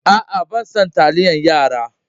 A'a, bana son taliyar yara.